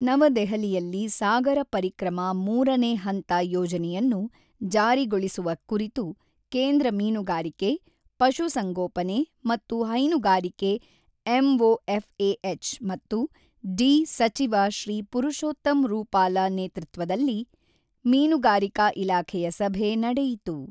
ನವದೆಹಲಿಯಲ್ಲಿ ಸಾಗರ ಪರಿಕ್ರಮ ೩ನೇ ಹಂತ ಯೋಜನೆಯನ್ನು ಜಾರಿಗೊಳಿಸುವ ಕುರಿತು ಕೇಂದ್ರ ಮೀನುಗಾರಿಕೆ, ಪಶು ಸಂಗೋಪನೆ ಮತ್ತು ಹೈನುಗಾರಿಕೆ ಎಂಒಎಫ್ಎಎಚ್ ಮತ್ತು ಡಿ ಸಚಿವ ಶ್ರೀ ಪರಶೋತ್ತಮ್ ರೂಪಾಲ ನೇತೃತ್ವದಲ್ಲಿ ಮೀನುಗಾರಿಕಾ ಇಲಾಖೆಯ ಸಭೆ ನಡೆಯಿತು.